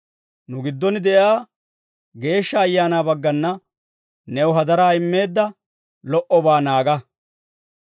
Nu giddon de'iyaa Geeshsha Ayaanaa baggana new hadaraa immeedda lo"obaa naaga.